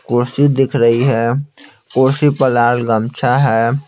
कुर्सी दिख रही है कुर्सी पर लाल गमछा है।